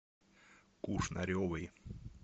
кушнаревой